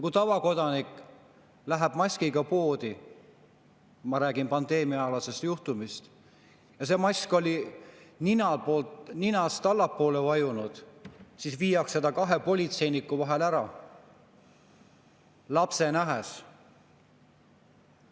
Kui tavakodanik läks maskiga poodi – ma räägin pandeemiaaegsest juhtumist – ja see mask oli ninast allapoole vajunud, siis viidi ta kahe politseiniku vahel ära, lapse nähes.